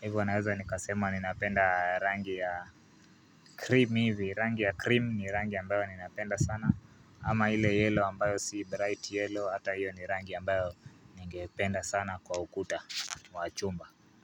hivo naweza nikasemwa ninapenda rangi ya cream hivi, rangi ya cream ni rangi ambayo ninapenda sana, ama ile yellow ambayo si bright yellow, ata hiyo ni rangi ambayo ningependa sana kwa ukuta wa chumba.